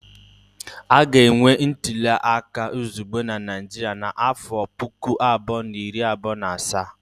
A ga-enwe ntuli aka izugbe na Naịjirịa n'afọ puku abụọ na iri abụọ na asaa